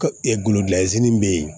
bɛ yen